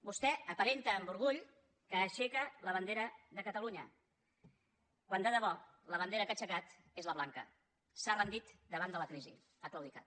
vostè aparenta amb orgull que aixeca la bandera de catalunya quan de debò la bandera que ha aixecat és la blanca s’ha rendit davant de la crisi ha claudicat